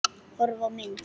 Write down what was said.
Horfa á mynd